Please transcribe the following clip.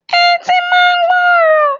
Etí máa ń gbọ́ ọ̀rọ̀.